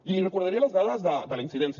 i li recordaré les dades de la incidència